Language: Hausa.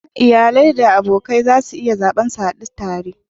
Iyali da abokai za su iya zaɓar su hadu tare.